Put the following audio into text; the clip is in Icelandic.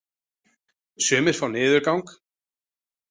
Sumir fá niðurgang.